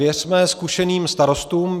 Věřme zkušeným starostům.